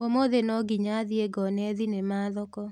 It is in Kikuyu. ũmũthĩ nonginya thiĩ ngone thinema thoko.